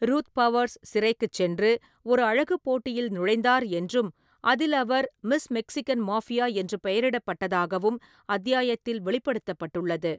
Ruth Powers சிறைக்குச் சென்று ஒரு அழகுப் போட்டியில் நுழைந்தார் என்றும், அதில் அவர் "மிஸ் மெக்சிகன் மாஃபியா" என்று பெயரிடப்பட்டதாகவும் அத்தியாயத்தில் வெளிப்படுத்தப்பட்டுள்ளது.